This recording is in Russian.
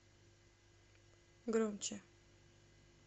громче